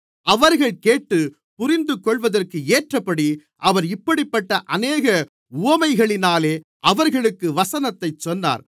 அவர்கள் கேட்டுப் புரிந்துகொள்வதற்கு ஏற்றபடி அவர் இப்படிப்பட்ட அநேக உவமைகளினாலே அவர்களுக்கு வசனத்தைச் சொன்னார்